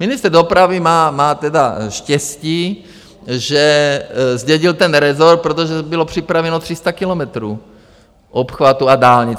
Ministr dopravy má tedy štěstí, že zdědil ten rezort, protože bylo připraveno 300 kilometrů obchvatů a dálnic.